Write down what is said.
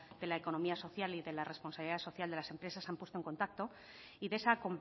de la economía social y de la responsabilidad social de las empresas se han puesto en contacto y de esa